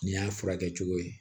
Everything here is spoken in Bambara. N'i y'a furakɛ cogo ye